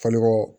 Falikɔ